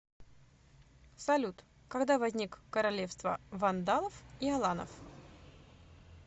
салют когда возник королевство вандалов и аланов